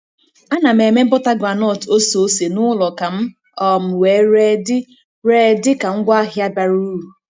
Ana m eme bọta groundnut oseose n'ụlọ ka m um wee ree dị ree dị ka ngwaahịa bara uru.